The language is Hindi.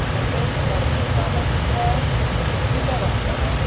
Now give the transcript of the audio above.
मकई का कुछ दाना दिख रहा है जो कि पीला रंग का है।